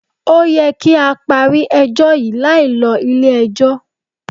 Ó yẹ kí á parí ẹjọ́ yí láì lo ilé ẹjọ́.